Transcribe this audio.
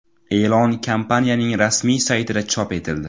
E’lon kompaniyaning rasmiy saytida chop etildi .